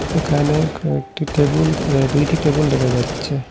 এখানে কয়েকটি টেবুল এ দুইটি টেবুল দেখা যাচ্ছে।